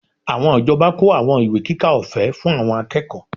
Àwọn ìjọba kó àwọn ìwé kíkà ọ̀fẹ́ fún àwọn akẹ́kọ̀ọ́